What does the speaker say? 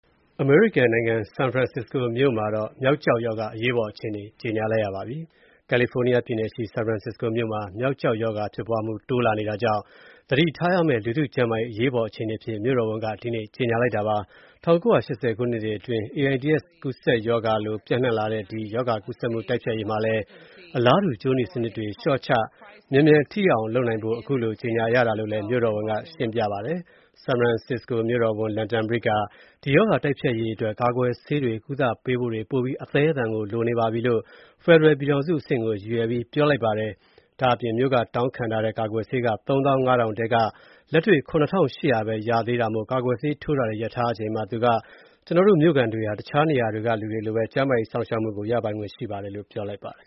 အမေရိကန်နိုင်ငံ ဆန်ဖရန်ဆစ္စကိုမှာ မျောက်ကျောက်ရောဂါ အရေးပေါ်အခြေအနေ ကြေညာလိုက်ပါပြီ။ ကယ်လီဖိုနီးယားပြည်နယ်ရှိ ဆန်ဖရန်ဆစ္စကိုမြို့မှာ မျောက်ကျောက်ရောဂါဖြစ်ပွားမှု တိုးလာနေတာကြောင့် သတိထားရမယ့် လူထုကျန်းမာရေး အရေးပေါ်အခြေအနေအဖြစ် မြို့တော်ဝန်က ဒီနေ့ ကြေညာလိုက်တာပါ။ ၁၉၈၀ ခုနှစ်တွေအတွင်း AIDS ကူးစက်ရောဂါလို ဆင်တူရိုးမှားပျံ့နှံ့လာတဲ့ ဒီရော ဂါ ကူးစက်မှု တိုက်ဖျက်ရေးမှာလည်း အလားတူ ကြိုးနီစနစ်တွေ လျှော့ချ မြန်မြန် ထိရောက်အောင်လုပ်နိုင်ဖို့ ခုလို ကြေညာတာလို့လည်း မြို့တော်ဝန်က ရှင်းပြပါတယ်။ ဆန်ဖရန်ဆစ္စကိုမြို့တော်ဝန် London Breed က ဒီရောဂါ တိုက်ဖျက်ရေးအတွက် ကာကွယ်ဆေးတွေ၊ ကုသပေးဖို့တွေ ပိုပြီး အသည်းအသန်ကို လိုအပ်နေပါပြီလို့ ဖယ်ဒရယ် ပြည်ထောင်စုအဆင့်ကို ရည်ရွယ်ပြီး ပြောလိုက်ပါတယ်။ မြို့က တောင်းခံထားတဲ့ ဒီရောဂါကာကွယ်ဆေး ၃၅,၀၀၀ ထဲက လက်တွေ့ ၇,၈၀၀ ပဲ ရခဲ့တာမို့ ကာကွယ်ဆေးထိုးတာတွေ ရပ်ထားရချိန်မှာ ကျနော်တို့ မြို့ခံတွေဟာ တခြားနေရာက လူတွေလိုပဲ ကျန်းမာရေးစောင့်ရှောက်မှုကို ရပိုင်ခွင့်ရှိပါတယ်လို့ သူက ပြောလိုက်ပါတယ်။